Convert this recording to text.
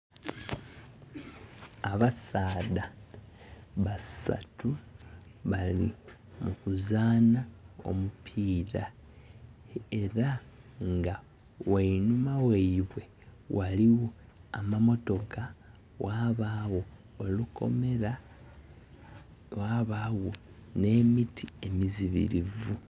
Abasaadha basaatu bali mu kuzaana omupiira era nga wainuma waibwe waliwo amamotoka, wabawo olukomera, wabawo ne miti emiziribivu